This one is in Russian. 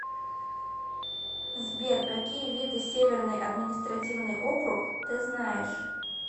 сбер какие виды северный административный округ ты знаешь